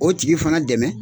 O tigi fana dɛmɛ